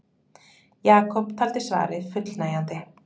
Jakob taldi svarið fullnægjandi.